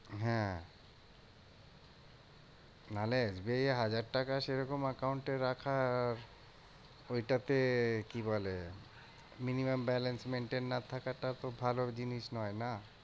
হ্যাঁ নাহলে এই হাজার টাকা সেরকম account এ রাখা আহ ওইটা তে কি বলে? minimum balance maintain না থাকাটা তো ভালো জিনিস নয় না?